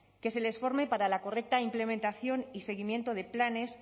que se les forme y para la correcta implementación y seguimiento de planes